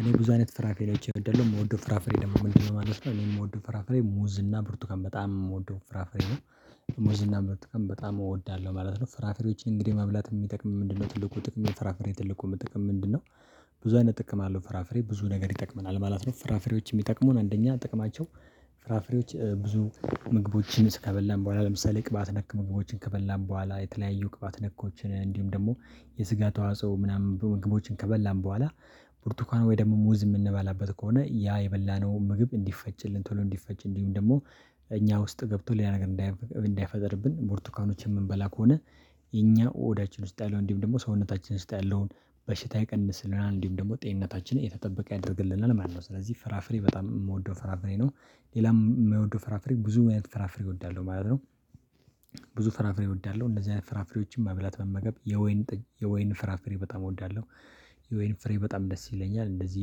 እኔ ብዙ አይነት ፍራፍሬዎች እወዳለሁ የምወደው ፍራፍሬ ደግሞ ምንድን ማለት ነው? እኔ የምወደው ፍራፍሬ ሙዝ እና ብርቱካን በጣም የምወደው ፍራፍሬ ነው። ሙዝ እና ብርቱካን በጣም እወዳለሁ ማለት ነው። ፍራፍሬዎችን እንግዲህ መብላት የሚጠቅመው ምንድነው? ትልቁ ጥቅም የፍራፍሬ ትልቁ ጥቅም ምንድነው? ብዙ አይነት ጥቅም አለው ፍራፍሬ ብዙ ነገር ይጠቅመናል ማለት ነው። ፍራፍሬዎች የሚጠቅሙን አንደኛ ጥቅማቸው። ፍራፍሬዎች ብዙ ምግቦችን ከበላን በኋላ ለምሳሌ ቅባት ነክ ምግቦችን ከበላን በኋላ የተለያዩ ቅባት ነኮችን እንዲሁም ደግሞ የስጋ ተዋጽኦ ምናምን ምግቦችን ከበላን በኋላ። ብርቱካን ወይ ደግሞ ሙዝ የምንበላበት ከሆነ ያ የበላነው ምግብ እንዲፈጭልን ቶሎ እንዲፈጭ እንዲሁም ደግሞ እኛ ውስጥ ገብቶል ሌላ ነገር እንዳይፈጠርብን። ብርቱካኖችን የምንበላ ከሆነ። የኛ ሆዳችን ውስጥ ያለውን እንዲሁም ደግሞ ሰውነታችን ውስጥ ያለውን በሽታ ይቀንስልናል እንዲሁም ደግሞ ጤንነታችን የተጠበቀ ያደርግልናል ማለት ነው። ስለዚህ ፍራፍሬ በጣም የምወደው ፍራፍሬ ነው። ሌላም የምወደው ፍራፍሬ ብዙ አይነት ፍራፍሬ እወዳለሁ ማለት ነው። ፍራፍሬ እወዳለሁ እንደዚህ አይነት ፍራፍሬዎችን መብላት መመገብ የወይን የወይን ፍራፍሬ በጣም እወዳለሁ። የወይን ፍሬ በጣም ደስ ይለኛል እንደዚህ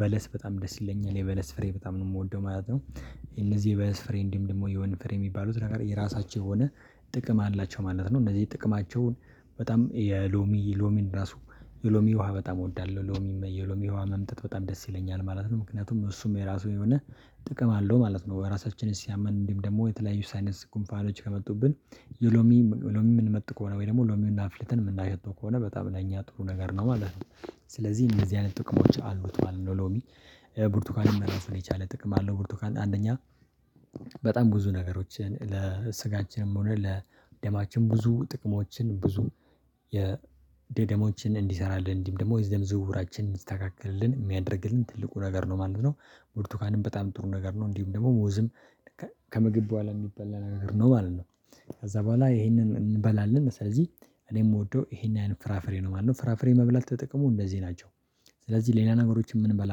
በለስ በጣም ደስ ይለኛል የበለስ ፍሬ በጣም ነው የምወደው ማለት ነው። እነዚህ የበለስ ፍሬ እንዲሁም ደግሞ የወይን ፍሬ የሚባሉት ነገር የራሳቸው የሆነ ጥቅም አላቸው ማለት ነው። እነዚህ ጥቅማቸውን በጣም የሎሚ ሎሚን ራሱ የሎሚ ውሃ በጣም እወዳለሁ ሎሚ የሎሚ ውሃ መምጠጥ በጣም ደስ ይለኛል ማለት ነው። ምክንያቱም እሱም የራሱ የሆነ ጥቅም አለው ማለት ነው። ራሳችንን ሲያመን እንዲሁም ደግሞ የተለያዩ ሳይነስ ጉንፋኖች ከመጡብን። ሎሚ ሎሚ የምንመጥ ከሆነ ወይ ደግሞ ሎሚውን አፍልተን የምናሸተው ከሆነ በጣም ለእኛ ጥሩ ነገር ነው ማለት ነው። ስለዚህ እንደዚህ አይነት ጥቅሞች አሉት ማለት ነው። ሎሚ ብርቱካንም ራሱን የቻለ ጥቅም አለው ብርቱካን አንደኛ። በጣም ብዙ ነገሮችን ለስጋችንም ሆነ ለደማችን ብዙ ጥቅሞችን ብዙ የደደሞችን የደሞችን እንዲሰራልን አንዲሁም ደግሞ የደም ዝውውራችን እንዲስተካከልልን የሚያደርግልን ትልቁ ነገር ነው ማለት ነው። ብርቱካንም በጣም ጥሩ ነገር ነው። እንዲሁም ደግሞ ሙዝም ከምግብ በኋላ የሚበላ ነገር ነው ማለት ነው። ከዛ በኋላ ይሄንን እንበላለን ስለዚህ እኔ የምወደው ይሄን ፍራፍሬ ነው ማለት ነው። ፍራፍሬ መብላት ጥቅሙ እነዚህ ናቸው። ስለዚህ ሌላ ነገሮችን የምንበላ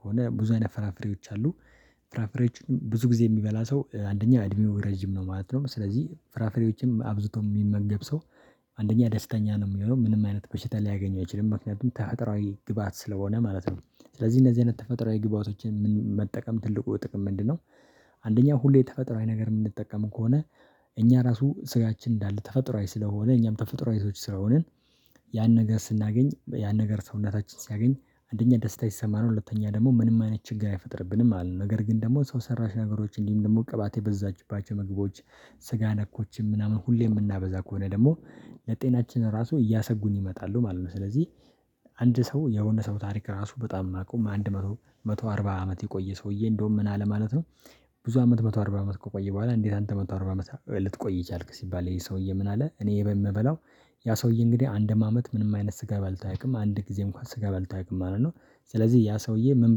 ከሆነ ብዙ አይነት ፍራፍሬዎች አሉ። ፍራፍሬዎችን ብዙ ጊዜ የሚበላ ሰው አንደኛ አድሜው ረጅም ነው ማለት ነው። ስለዚህ ፍራፍሬዎችም አብዝቶ የሚመገብ ሰው አንደኛ ደስተኛ ነው የሚሆነው ምንም አይነት በሽታ ሊያገኘው ይችላል ምክንያቱም ተፈጥሮአዊ ግብአት ስለሆነ ማለት ነው። ስለዚህ እነዚህ አይነት ተፈጥሮአዊ ግብአቶችን መጠቀም ትልቁ ጥቅም ምንድነው? አንደኛ ሁሌ ተፈጥሮአዊ ነገር የምንጠቀም ከሆነ እኛ ራሱ ስጋችን እንዳለ ተፈጥሮአዊ ስለሆነ እኛም ተፈጥሮአዊ ሰዎች ስለሆንን። ያን ነገር ስናገኝ ያን ነገር ሰውነታችን ሲያገኝ አንደኛ ደስታ ይሰማናል ሁለተኛ ደግሞ ምንም አይነት ችግር አይፈጥርብንም። አለን ነገር ግን ደግሞ ሰው ሰራሽ ነገሮች እንዲሁም ደግሞ ቅባት የበዛባቸው ምግቦች። ስጋ ነኮችም ምናምን ሁሌ የምናበዛ ከሆነ ደግሞ ለጤናችን ራሱ እያሰጉን ይመጣሉ ማለት ነው። ስለዚህ አንድ ሰው የሆነ ሰው ታሪክ ራሱ በጣም የማውቀው አንድ መቶ መቶ አርባ አመት የቆየ ሰውዬ እንደውም ምን አለ ማለት ነው። ብዙ አመት መቶ አርባ አመት ከቆየ በኋላ እንዴት? አንተ መቶ አርባ አመት ልትቆይ ቻልክ ሲባል ይሄ ሰውዬ ምን አለ እኔ የምበላው ያ ሰውዬ እንግዲህ አንድም አመት ምንም አይነት ስጋ በልቶ አያውቅም አንድ ጊዜ እንኳን ስጋ በልቶ አያውቅም ማለት ነው። ስለዚህ ያ ሰውዬ ምን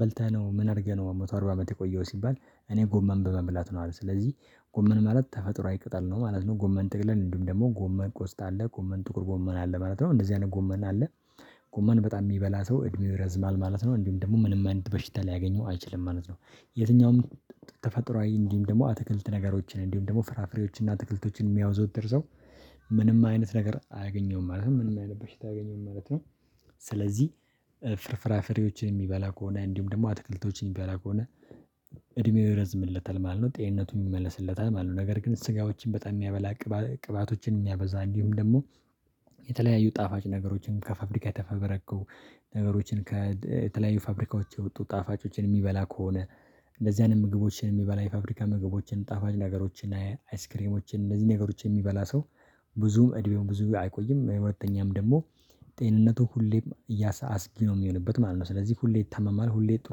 በልተህ ነው ምን አድርገህ ነው መቶ አርባ አመት የቆየኸው? ሲባል እኔ ጎመን በመብላት ነው አለ። ስለዚህ ጎመን ማለት ተፈጥሮአዊ ቅጠል ነው ማለት ነው። ጎመን ጥቅልል እንዲሁም ደግሞ ጎመን ቆስጣ ጎመን ጥቁር ጎመን አለ ማለት ነው እንደዚህ አይነት ጎመን አለ። ጎመን በጣም የሚበላ ሰው እድሜው ይረዝማል ማለት ነው። እንዲሁም ደግሞ ምንም አይነት በሽታ ሊያገኘው አይችልም ማለት ነው። የትኛውም ተፈጥሮአዊ እንዲሁም ደግሞ አትክልት ነገሮችን እንዲሁም ደግሞ ፍራፍሬዎችን እና አትክልቶችን የሚያዘወትር ሰው ምንም አይነት ነገር አያገኘውም ማለት ምን አይነት በሽታ አያገኘውም ማለት ነው። ስለዚህ ፍራፍሬዎችን የሚበላ ከሆነ እንዲሁም ደግሞ አትክልቶችን የሚበላ ከሆነ እድሜው ይረዝምለታል ማለት ነው። ጤንነቱም ይመለስለታል ማለት ነው ነገር ግን ስጋዎችን በጣም የሚያበዛ። ቅባቶችን የሚያበዛ እንዲሁም ደግሞ የተለያዩ ጣፋጭ ነገሮችን ከፋብሪካ ተፈብርከው ነገሮችን ከተለያዩ ፋብሪካዎች የወጡ ጣፋጮችን የሚበላ ከሆነ። እንደዚህ አይነት ምግቦችን የሚበላ የፋብሪካ ምግቦችን ጣፋጭ ነገሮችን አይስክሬሞችን እንደዚህ ነገሮችን የሚበላ ሰው። ብዙም እድሜውም ብዙም አይቆይም ሁለተኛም ደግሞ ጤንነቱ ሁሌም አስጊ ነው የሚሆንበት ማለት ነው። ስለዚህ ሁሌ ይታመማል ሁሌ ጥሩ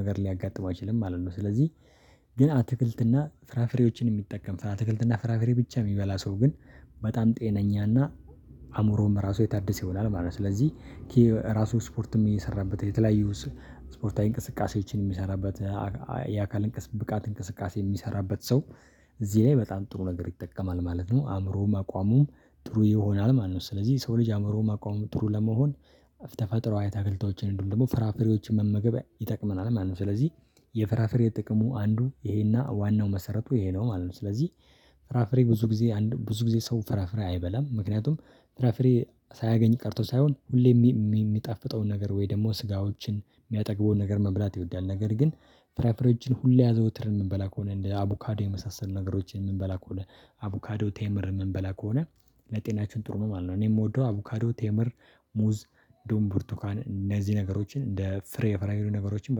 ነገር ሊያጋጥመው አይችልም ማለት ነው። ስለዚህ ግን አትክልትና ፍራፍሬዎችን የሚጠቀም አትክልት እና ፍራፍሬ ብቻ የሚበላ ሰው ግን። በጣም ጤነኛ እና አዕምሮውም ራሱ የታደሰ ይሆናል ማለት ነው። ስለዚህ ራሱ ስፖርትም እየሰራበት የተለያዩ ስፖርታዊ እንቅስቃሴዎችን የሚሰራበት የአካል ብቃት እንቅስቃሴ የሚሰራበት ሰው። እዚህ ላይ በጣም ጥሩ ነገር ይጠቀማል ማለት ነው። አእምሮውም አቋሙም ጥሩ ይሆናል ማለት ነው። ስለዚህ የሰው ልጅ አእምሮውም አቋሙም ጥሩ ለመሆን ተፈጥሮአዊ አትክልቶችን እንዲሁም ደግሞ ፍራፍሬዎችን መመገብ ይጠቅመናል ማለት ነው። ስለዚህ የፍራፍሬ ጥቅሙ አንዱ ይሄና ዋናው መሰረቱ ይሄ ነው ማለት ነው። ስለዚህ ፍራፍሬ ብዙ ጊዜ ብዙ ጊዜ ሰው ፍራፍሬ አይበላም ምክንያቱም ፍራፍሬ ሳያገኝ ቀርቶ ሳይሆን ሁሌም የሚጣፍጠውን ነገር ወይ ደግሞ ስጋዎችን የሚያጠግበውን ነገር መብላት ይወዳል ነገር ግን። ፍራፍሬዎችን ሁሌ አዘውትረን የምንበላ ከሆነ እንደ አቡካዶ የመሳሰሉ ነገሮችን የምንበላ ከሆነ አቡካዶ ቴምር የምንበላ ከሆነ። ለጤናችን ጥሩ ነው ማለት ነው። እኔ የምወደው አቡካዶ ቴምር ሙዝ ዱም ብርቱካን እነዚህ ነገሮችን እንደ ፍሬ ነገሮችን